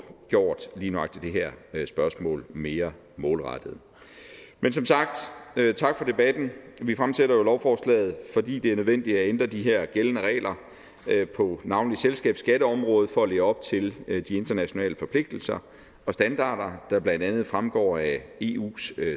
gjort lige nøjagtig det her spørgsmål mere målrettet men som sagt tak for debatten vi fremsætter jo lovforslaget fordi det er nødvendigt at ændre de her gældende regler på navnlig selskabsskatteområdet for at leve op til de internationale forpligtelser og standarder der blandt andet fremgår af eus